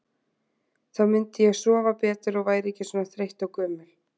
Þá myndi ég sofa betur og væri ekki svona þreytt og gömul.